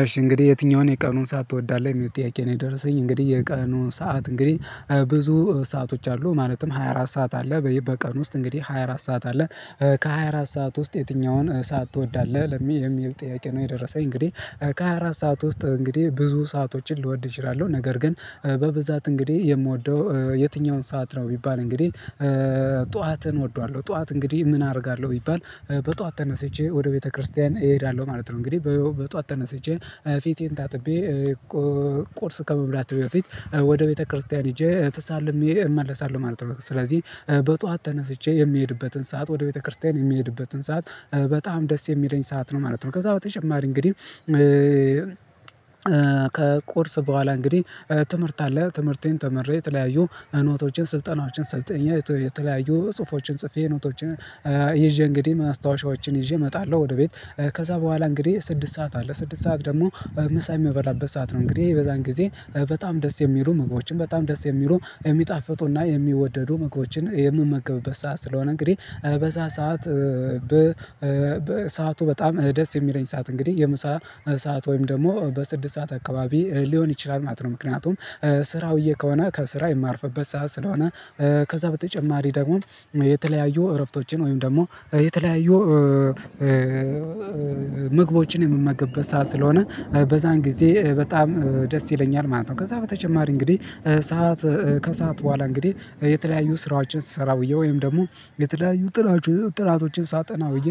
እሺ እንግዲህ የትኛውን የቀኑን ሰዓት ትወዳለህ? የሚል ጥያቄ ነው የደረሰኝ እንግዲህ የቀኑን ሰዓት እንግዲህ ብዙ ሰአቶች አሉ ማለትም ሃያ አራት ሰዓት አለ በቀን ውስጥ እንግዲህ ሃያ አራት ሰዓት አለ ከሃያ አራት ሰዓት ውስጥ የትኛውን ሰዓት ትወዳለህ ለሚ የሚል ጥያቄ ነው የደረሰኝ እንግዲህ ከሃያ አራት ሰዓት ውስጥ እንግዲህ ብዙ ሰአቶችን ልወድ እችላለሁ ነገር ግን በብዛት እንግዲህ የምወደው የትኛውን ሰዓት ነው ቢባል እንግዲህ ጠዋትን እወደዋለሁ ጠዋት እንግዲህ ምን አደርጋለሁ ቢባል በጠዋት ተነስቼ ወደ ቤተክርስቲያን እሄዳለሁ ማለት ነው፤ እንግዲህ በጧት ተነስቼ ፊቴን ታጥቤ ቁርስ ከመብላት በፊት ወደ ቤተክርስቲያን ሄጄ ተሳልሜ እመለሳለሁ ማለት ነው ስለዚህ በጧት ተነስቼ የሚሄድበትን ሰዓት ወደ ቤተክርስቲያን የሚሄድበትን ሰዓት በጣም ደስ የሚለኝ ሰዓት ነው ማለት ነው ከዛ በተጨማሪ እንግዲህ ከቁርስ በኋላ እንግዲህ ትምህርት አለ ትምህርቴን ተምሬ የተለያዩ ኖቶቼን ስልጠናዎችን ሰልጠኛ የተለያዩ ጽሁፎችን ጽፌ ኖቶችን ይዤ እንግዲህ ማስታወሻዎችን ይዤ እመጣለሁ ወደ ቤት ከዛ በኋላ እንግዲህ ስድስት ሰዓት አለ ስድስት ሰዓት ደግሞ ምሳ የምበላበት ሰዓት ነው እንግዲህ የበዛን ጊዜ በጣም ደስ የሚሉ ምግቦችን በጣም ደስ የሚሉ የሚጣፍጡና የሚወደዱ ምግቦችን የምመገብበት ሰዓት ስለሆነ እንግዲህ በዚያ ሰዓት በሰአቱ በጣም ደስ የሚለኝ ሰዓት እንግዲህ የምሳ ሰዓት ወይም ደግሞ በስድስት ሰዓት አካባቢ ሊሆን ይችላል ማጥረው ምክንያቱም ስራ ውዬ ከሆነ ከስራ የማርፍበት ሰዓት ስለሆነ ከዛ በተጨማሪ ደግሞ የተለያዩ እረፍቶችን ወይም ደግሞ የተለያዩ ምግቦችን የምመገብበት ሰዓት ስለሆነ በዛን ጊዜ በጣም ደስ ይለኛል ማለት ነው ከዛ በተጨማሪ እንግዲህ ሰዓት ከሰአት በኋላ እንግዲህ የተለያዩ ስራዎችን ስሰራ ውየ ወይም ደግሞ የተለያዩ ጥናቶችን ሳጠና ውየ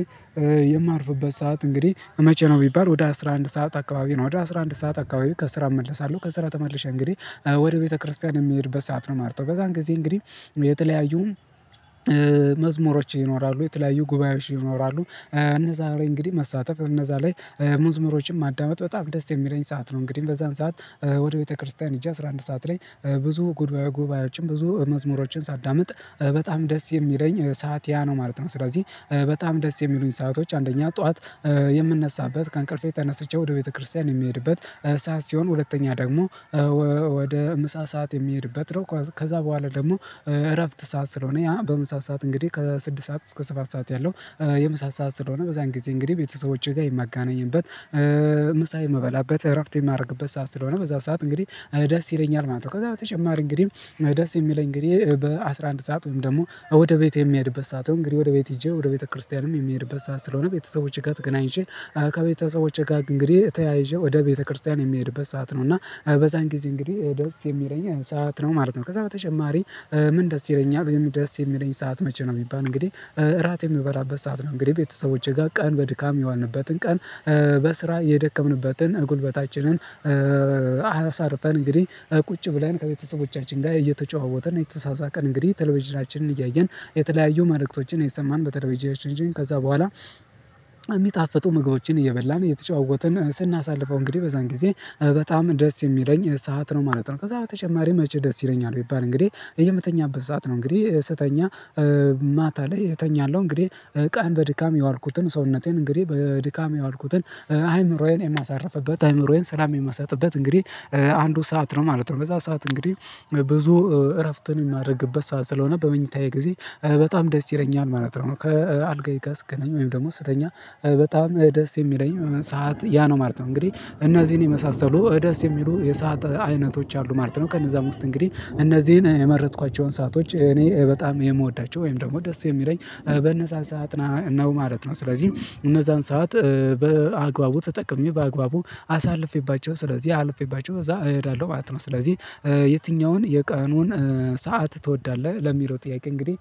የማርፍበት ሰዓት እንግዲህ መቼ ነው ቢባል ወደ አስራ አንድ ሰዓት አካባቢ ነው ወደ አስራ አንድ ሰዓት አካባቢ ከስራ እመልሳለሁ ከስራ ተመልሼ እንግዲህ ወደ ቤተክርስቲያን የምሄድበት ሰዓት ነው ማለት ነው፤ በዛን ጊዜ እንግዲህ የተለያዩ መዝሙሮች ይኖራሉ፤ የተለያዩ ጉባኤዎች ይኖራሉ፤ እነዛ ላይ እንግዲህ መሳተፍ እነዛ ላይ ሙዝሙሮችን ማዳመጥ በጣም ደስ የሚለኝ ሰዓት ነው እንግዲህ በዛን ሰዓት ወደ ቤተክርስቲያን ሄጄ አስራ አንድ ሰዓት ላይ ብዙ ጉድባዮ ጉባኤዎችም ብዙ መዝሙሮችን ሳዳምጥ በጣም ደስ የሚለኝ ሰዓት ያ ነው ማለት ነው ስለዚህ በጣም ደስ የሚሉኝ ሰአቶች አንደኛ ጠዋት የምንነሳበት ከእንቅልፌ ተነስቼ ወደ ቤተክርስቲያን የሚሄድበት ሰዓት ሲሆን ሁለተኛ ደግሞ ወደ ምሳ ሰዓት የምሄድበት ነው ከዛ በኋላ ደግሞ እረፍት ሰዓት ስለሆነ ያ በምሳ ሰዓት እንግዲህ ከስድስት ሰዓት እስከ ሰባት ሰዓት ያለው የምሳ ሰዓት ስለሆነ በዛን ጊዜ እንግዲህ ቤተሰቦቼ ጋር የምገናኝበት ምሳ የምበላበት እረፍት የማደርግበት ሰዓት ስለሆነ በዛ ሰዓት እንግዲህ ደስ ይለኛል ማለት ነው ከዛ በተጨማሪ እንግዲህ ደስ የሚለኝ እንግዲህ በአሥራ አንድ ሰዓት ወይም ደግሞ ወደ ቤት የሚሄድበት ሰዓት ነው እንግዲህ ወደ ቤት ሄጄ ወደ ቤተክርስቲያንም የሚሄድበት ሰዓት ስለሆነ ቤተሰቦቼ ጋር ተገናኝቼ ከቤተሰቦቼ ጋር እንግዲህ ተያይዤ ወደ ቤተክርስቲያን የምሄድበት ሰዓት ነው እና በዛን ጊዜ እንግዲህ ደስ የሚለኝ ሰዓት ነው ማለት ነው ከዛ በተጨማሪ ምን ደስ ይለኛል ደስ የሚለኝ ሰዓት መቼ ነው የሚባል እንግዲህ እራት የሚበላበት ሰዓት ነው እንግዲህ ቤተሰቦቼ ጋር ቀን በድካም የዋልንበትን ቀን በስራ የደከምንበትን ጉልበታችንን አሳርፈን እንግዲህ ቁጭ ብለን ከቤተሰቦቻችን ጋር እየተጨዋወትን እና እየተሳሳቀን እንግዲህ ተለቭዥናችንን እያየን የተለያዩ መልእክቶችን እየሰማን በተለቭዥናችን ከዛ በኋላ የሚጣፍጡ ምግቦችን እየበላን እየተጫወትን ስናሳልፈው እንግዲህ በዛን ጊዜ በጣም ደስ የሚለኝ ሰዓት ነው ማለት ነው ከዛ በተጨማሪ መቸ ደስ ይለኛል ቢባል እንግዲህ የምተኛበት ሰዓት ነው እንግዲህ ስተኛ ማታ ላይ እተኛለሁ እንግዲህ ቀን በድካም የዋልኩትን ሰውነቴን እንግዲህ በድካም የዋልኩትን አይምሮዬን የማሳርፍበት አይምሮዬን ሰላም የምሰጥበት እንግዲህ አንዱ ሰዓት ነው ማለት ነው በዛ ሰዓት እንግዲህ ብዙ እረፍትን የማደርግበት ሰዓት ስለሆነ በመኝታዬ ጊዜ በጣም ደስ ይለኛል ማለት ነው ከአልጋዬ ጋር ስገናኝ ወይም ደግሞ ስተኛ በጣም ደስ የሚለኝ ሰዓት ያ ነው ማለት ነው እንግዲህ እነዚህን የመሳሰሉ ደስ የሚሉ የሰዓት አይነቶች አሉ ማለት ነው ከነዛ ውስጥ እንግዲህ እነዚህን የመረጥኳቸውን ሰአቶች እኔ በጣም የምወዳቸው ወይም ደግሞ ደስ የሚለኝ በነዛን ሰዓት ነው ማለት ነው ስለዚህ እነዛን ሰዓት በአግባቡ ተጠቅሜ በአግባቡ አሳልፌባቸው ስለዚህ አልፌባቸው እዛ እሄዳለሁ ማለት ነው ስለዚህ የትኛውን የቀኑን ሰዓት ትወዳለህ ለሚለው ጥያቄ እንግዲህ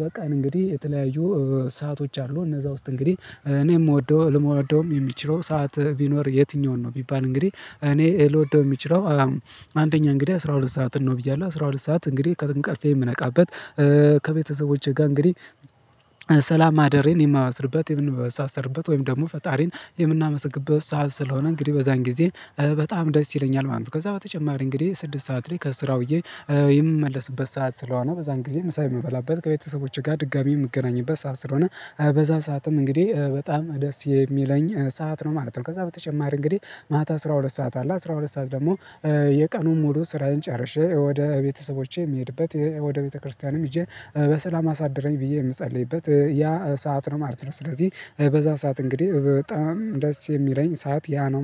በቀን እንግዲህ የተለያዩ ሰአቶች አሉ እነዛ ውስጥ እንግዲህ እኔ የምወደው ልወደውም የሚችለው ሰዓት ቢኖር የትኛውን ነው ቢባል እንግዲህ እኔ ልወደው የሚችለው አንደኛ እንግዲህ አስራ ሁለት ሰዓትን ነው ብያለሁ አስራ ሁለት ሰዓት እንግዲህ ከእንቅልፌ የምነቃበት ከቤተሰቦቼ ጋር እንግዲህ ሰላም ማደሬን የማስርበት የምንበሳ ሰርበት ወይም ደግሞ ፈጣሪን የምናመስግበት ሰዓት ስለሆነ እንግዲህ በዛን ጊዜ በጣም ደስ ይለኛል ማለት ነው ከዛ በተጨማሪ እንግዲህ ስድስት ሰዓት ላይ ከስራ ውየ የምመለስበት ሰዓት ስለሆነ በዛን ጊዜ ምሳ የምበላበት ከቤተሰቦቼ ጋር ድጋሚ የምገናኝበት ሰዓት ስለሆነ በዛ ሰዓትም እንግዲህ በጣም ደስ የሚለኝ ሰዓት ነው ማለት ነው ከዛ በተጨማሪ እንግዲህ ማታ አስራ ሁለት ሰዓት አለ አስራ ሁለት ሰዓት ደግሞ የቀኑን ሙሉ ስራዬን ጨርሼ ወደ ቤተሰቦቼ የምሄድበት ወደ ቤተክርስቲያንም ይዤ በሰላም አሳደረኝ ብዬ የምጸልይበት ያ ሰዓት ነው ማለት ነው ስለዚህ በዛ ሰዓት እንግዲህ በጣም ደስ የሚለኝ ሰዓት ያ ነው